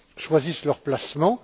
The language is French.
choisissent leurs placements.